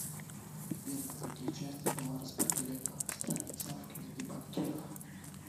сбер на какие части была распределена страница в книге банкиров